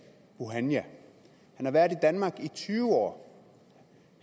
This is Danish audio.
bouhania han har været i danmark i tyve år